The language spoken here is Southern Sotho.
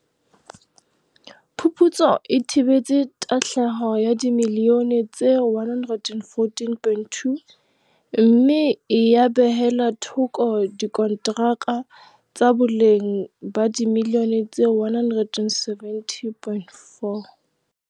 Phuputso e thibetse tahlehelo ya dimiliyone tse R114.2, mme ya behella thoko dikontraka tsa boleng ba dimiliyone tse R170.4.